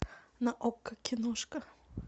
на окко киношка